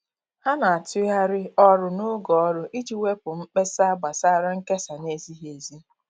Ha na-atụgharị ọrụ n'oge ọrụ iji wepụ mkpesa gbasara nkesa na-ezighi ezi.